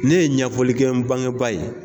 Ne ye ɲɛfɔlikɛ bangeba ye.